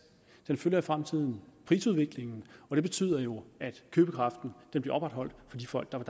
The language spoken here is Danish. det følger i fremtiden prisudviklingen og det betyder jo at købekraften bliver opretholdt for de folk der er